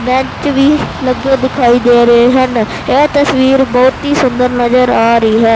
Bench ਵੀ ਲੱਗੇ ਦਿਖਾਈ ਦੇ ਰਹੇ ਹਨ ਇਹ ਤਸਵੀਰ ਬਹੁਤ ਹੀ ਸੁੰਦਰ ਨਜ਼ਰ ਆ ਰਹੀ ਹੈ।